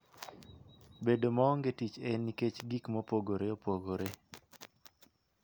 Bedo maonge tich en nikech gik mopogore opogore